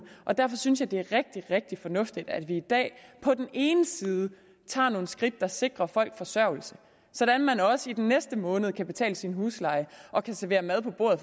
og derfor synes jeg det er rigtig rigtig fornuftigt at vi i dag på den ene side tager nogle skridt der sikrer folk forsørgelse sådan at man også i den næste måned kan betale sin husleje og kan sætte mad på bordet